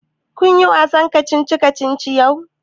Kun yi wasan kacici kacici yau?